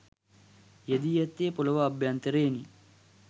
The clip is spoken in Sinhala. යෙදී ඇත්තේ පොළව අභ්‍යන්තරයෙනි